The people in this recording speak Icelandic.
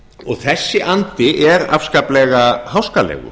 og þessi andi er afskaplega háskalegur